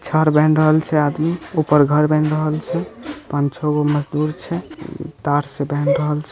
छड़ बंध रहल छै आदि ऊपर घर बन रहल छै पांच-छःगो मजदुर छै तार से बांध रहल छै।